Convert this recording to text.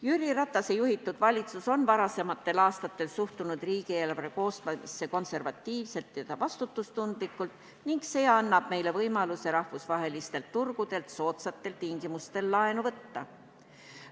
Jüri Ratase juhitud valitsus on varasematel aastatel suhtunud riigieelarve koostamisse konservatiivselt ja vastutustundlikult ning see annab meile võimaluse rahvusvahelistelt turgudelt soodsatel tingimustel laenu võtta.